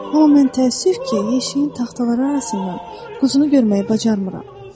Amma mən təəssüf ki, yeşiyin taxtaları arasından quzunu görməyi bacarmıram.